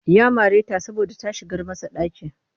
Ya mare ta saboda ta shigar masa ɗaki